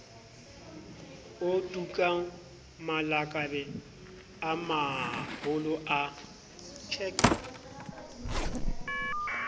otukang malakabe a maholo a